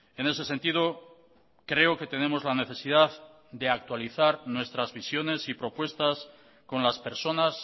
en ese sentido creo que tenemos la necesidad de actualizar nuestras visiones y propuestas con las personas